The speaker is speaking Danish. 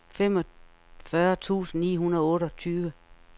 femogfyrre tusind ni hundrede og otteogtyve